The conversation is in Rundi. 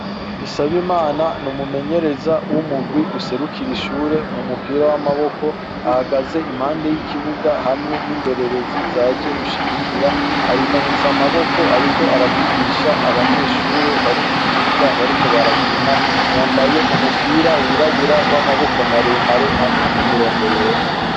Dusabimana numumenyereza wumugwi userukira ishure mumupira wamaboko ahagaze impande yikibuga hamwe nindorerezi zaje gushigikira aramanitse amaboko ariko aravugisha abanyeshure bari mukibuga bariko barakina yambaye umupira wirabura wamaboko maremare hamwe nimirongo yera